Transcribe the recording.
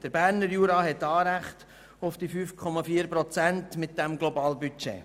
Der Berner Jura hat Anrecht auf das Globalbudget von 5,4 Prozent.